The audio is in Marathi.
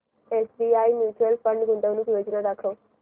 एसबीआय म्यूचुअल फंड गुंतवणूक योजना दाखव